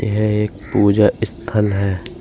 यह एक पूजा स्थल है।